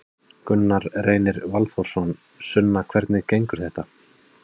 Gunnar Reynir Valþórsson: Sunna hvernig gengur þetta?